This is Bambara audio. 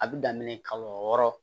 A bɛ daminɛ kalo wɔɔrɔ